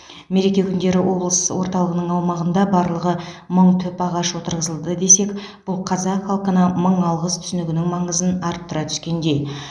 мереке күндері облыс орталығының аумағында барлығы мың түп ағаш отырғызылды десек бұл қазақ халқына мың алғыс түсінігінің маңызын арттыра түскендей